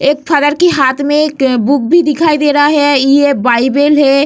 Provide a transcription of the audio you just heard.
एक फादर के हाथ में एक बुक भी दिखाई दे रहा है ये बाइबिल है।